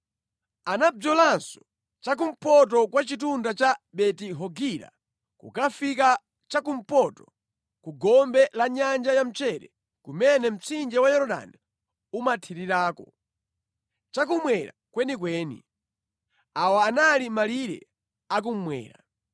Anabzolanso cha kumpoto kwa chitunda cha Beti-Hogila kukafika cha kumpoto ku gombe la Nyanja ya Mchere kumene mtsinje wa Yorodani umathirirako, cha kummwera kwenikweni. Awa anali malire a kummwera.